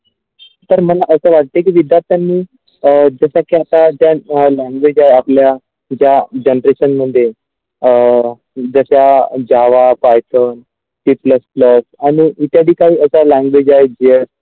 तर मन असं वाटते की विधतांनी अ जशा की आता अ language आपल्या ज्या generation मध्ये अ जशा java Python C Plus Plus आणि इत्यादीककांत language आहेत ज्या.